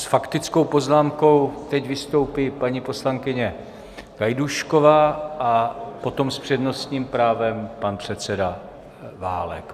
S faktickou poznámkou teď vystoupí paní poslankyně Gajdůšková a potom s přednostním právem pan předseda Válek.